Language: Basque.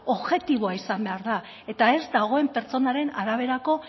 objektiboa izan behar da eta ez dagoen pertsonaren araberako